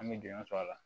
An bɛ jɔnjɔ sɔr'a la